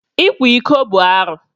Ịkwa iko bụ arụ.